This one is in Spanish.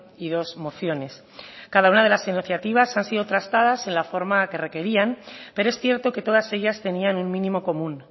y dos mociones cada una de las iniciativas han sido trastadas en la forma que requerían pero es cierto que todas ellas tenían un mínimo común